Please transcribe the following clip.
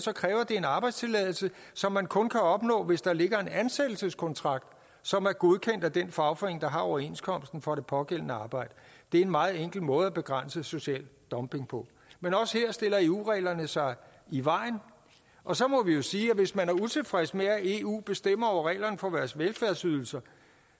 kræver det en arbejdstilladelse som man kun kan opnå hvis der ligger en ansættelseskontrakt som er godkendt af den fagforening der har overenskomsten for det pågældende arbejde det er en meget enkel måde at begrænse social dumping på men også her stiller eu reglerne sig i vejen og så må vi jo sige at hvis man er utilfreds med at eu bestemmer over reglerne for vores velfærdsydelser